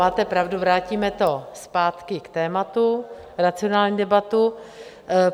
Máte pravdu, vrátíme to zpátky k tématu, racionální debatu.